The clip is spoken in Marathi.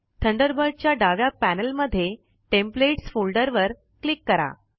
थंडरबर्ड च्या डाव्या पैनल मध्ये टेम्पलेट्स फोल्डर वर क्लिक करा